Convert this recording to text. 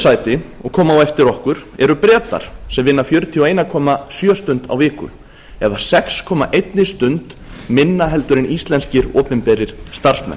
sæti og koma á eftir okkur eru bretar sem vinna fjörutíu og einn komma sjö stund á viku eða sex komma eina stund minna heldur en íslenskir opinberir starfsmenn